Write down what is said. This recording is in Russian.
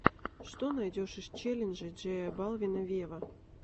что найдешь из челленджей джея балвина вево